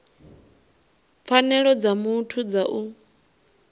pfanelo dza muthu dza u